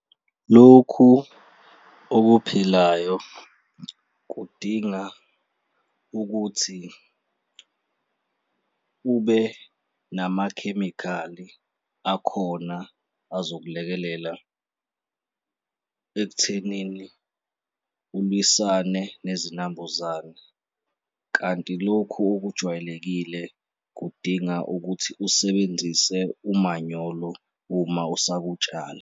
Lokhu okuphilayo kudinga ukuthi ube namakhemikhali akhona azokulekelela ekuthenini ulwisane nezinambuzane kanti lokhu okujwayelekile kudinga ukuthi usebenzise umanyolo uma usakutshala.